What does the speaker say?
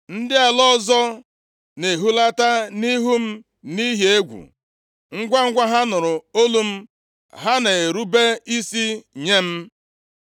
Ndị ala ọzọ na-ehulata nʼihu m nʼihi egwu, ngwangwa ha nụrụ olu m, ha na-erube isi nye m.